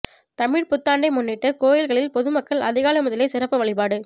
தமிழ் புத்தாண்டை முன்னிட்டு கோயில்களில் பொதுமக்கள் அதிகாலை முதலே சிறப்பு வழிபாடு